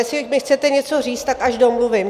Jestli mi chcete něco říct, tak až domluvím!